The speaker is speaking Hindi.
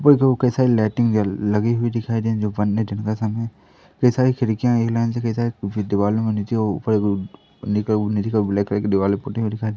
ऊपर दो के साइड लाइटिंग जल लगी हुई दिखाई दे जो पन्नी चढ़ता सामने कई सारी खिड़कियां एक लाइन से कई सारे भी दीवाल में नीचे ओ ऊपर दो पन्नी का का ब्लैक कलर की दीवाल में पुती हुई दिखाई --